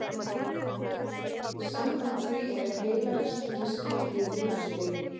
Samkvæmt því er heilahristingi skipt í þrjú stig.